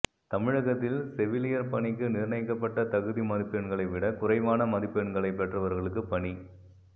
தமிழகத்தில் செவிலியர் பணிக்கு நிர்ணயிக்கப்பட்ட தகுதி மதிப்பெண்களை விட குறைவான மதிப்பெண்களை பெற்றவர்களுக்கு பணி